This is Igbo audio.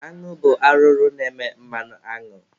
Añụ bụ arụrụ na-eme mmanụ añụ.